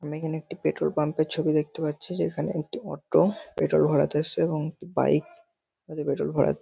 আমরা এখানে একটি পেট্রোল পাম্প র ছবি দেখতে পাচ্ছি। যেখানে একটি অটো পেট্রোল ভরাতে এসছে এবং একটি বাইক -এ পেট্রোল ভরা--